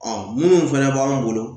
minnu fɛnɛ b'an bolo